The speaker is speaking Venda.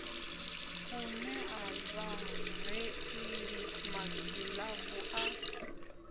u nea vhareili magilavu a